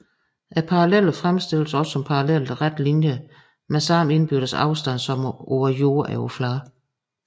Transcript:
Parallellerne fremstilledes også som parallelle rette linjer med samme indbyrdes afstand som på jordoverfladen